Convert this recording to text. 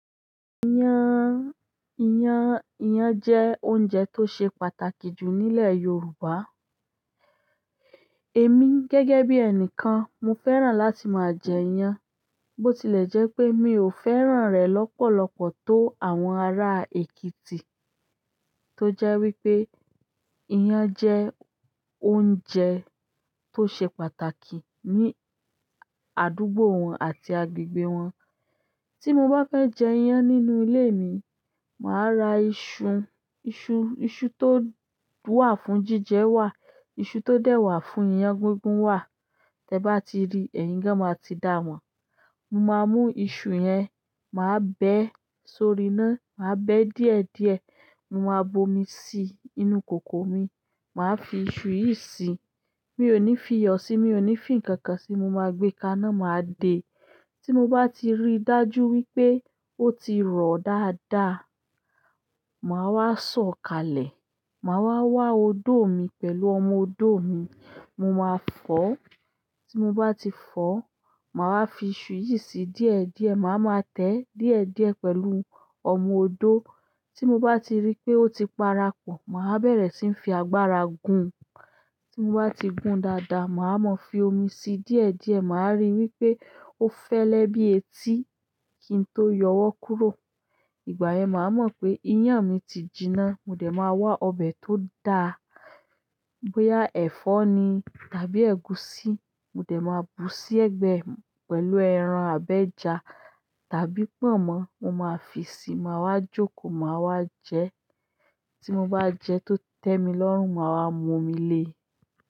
Iyán, iyán, iyán jẹ́ oúnjẹ tó ṣe pàtàkì jù nílẹ̀ Yorùbá. Èmi gẹ́gẹ́ bí ẹnìkan, mo fẹ́ràn láti máa jẹ iyán, bó tilẹ̀ jẹ́ pé mi ò fẹ́ràn rẹ̀ lọ́pọ̀lọpọ̀ tó àwọn ará Èkìtì, tó jẹ́ wípé iyán jẹ́ oúnjẹ tó ṣe pàtàkì ní àdúgbò wọn àti agbègbè wọn. Tí mo bá fe jẹ iyán nínú ilé mi, màá ra iṣu, iṣu, iṣu tó wà fún jíjẹ wà, iṣu tó dẹ́ wà fún iyán gígún wà. Tẹ bá ti rí, ẹ̀yin gan máa ti dà wọ́n. Mo máa mú iṣu yẹn, màá bẹ́ sórí iná, màá bẹ́ díẹ̀díẹ̀, mo máa bomi sí inú kòkò mi, màá fi iṣu yìí síi. Mi o ni fi iyo si mi o ni fi nkan kan si, mo maa gbe kaná ma de. Tí mo bá ti rí dájú wípé ó ti rọ̀ dáadáa, màá wá sọ̀ kalẹ̀, màá wá wá odó mi pẹ̀lú ọmọ odó mi. Mo máa fọ́, tí mo bá ti fọ́, màá fi iṣu yìí síi díẹ̀díẹ̀, màá ma tẹ́ díẹ̀díẹ̀ pẹ̀lú ọmọ odó. Tí mo bá ti rí pé ó ti parapọ̀, màá bẹ̀rẹ̀ sí ń fi agbára gún. Tí mo bá ti gún dáadáa, màá mọ fi omi síi díẹ̀díẹ̀, màá rí wípé ó fẹ́lẹ́ bí etí kí n tó yọwọ́ kúrò. Ìgbà yẹn màá mọ̀ pé iyán mi ti jiná. Mo dẹ̀ máa wá ọbẹ̀ tó da, bóyá ẹ̀fọ́ ni tàbí ẹ̀gúsí. Mo dẹ̀ máa bú sí ẹ̀gbẹ́ pẹ̀lú ẹran abẹ́jà tàbí pọ̀nmọ́. Mo máa fi si, màá wá jókòó, màá wá jẹ. Tí mo bá jẹ tó tẹ́mi lọ́rùn, màá wá mú omi le.